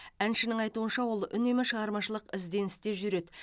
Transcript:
әншінің айтуынша ол үнемі шығармашылық ізденісте жүреді